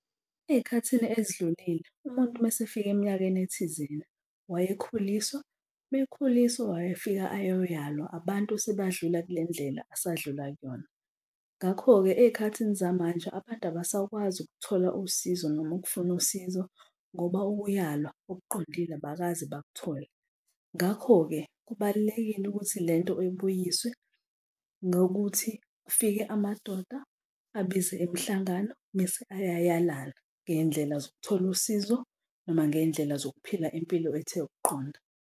Ey'khathini ezidlulile umuntu uma esefika eminyakeni ethizeni, wayekhuliswa. Uma ekhuliswa, wayefika ayoyalwa abantu sebadlula kule ndlela asadlula kuyona. Ngakho-ke ey'khathini zamanje abantu abasakwazi ukuthola usizo noma ukufuna usizo ngoba ukuyalwa okuqondile abakaze bakuthole. Ngakho-ke kubalulekile ukuthi lento ibuyiswe ngokuthi kufike amadoda abize imihlangano mese ayayalana, ngey'ndlela zokuthola usizo noma ngey'ndlela zokuphila impilo ethe ukuqonda.